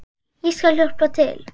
Ég skal hjálpa til.